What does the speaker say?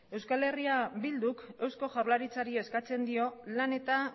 eh bilduk eusko jaurlaritzari eskatzen dio lan eta